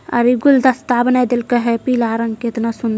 --और गुलदस्ता बना हुआ है पीला रंग का कितना सुन्दर।